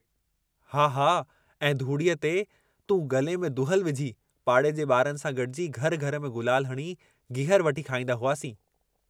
हा हा ऐं धूड़ए ते तूं गले में दुहिल विझी, पाड़े जे बारनि सां गडिजी घर घर में गुलाल हणी गीहर वठी खाईंदा हुआसीं।